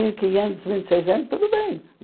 Isso mil e quinhetos, mil e seiscentos, tudo bem.